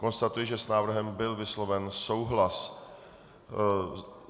Konstatuji, že s návrhem byl vysloven souhlas.